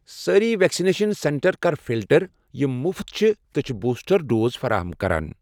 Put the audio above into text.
سٲرِی vaccination centre کر فلٹر یِم مفت چھِ تہٕ چھِ بوٗسٹر ڈوز فراہَم کران۔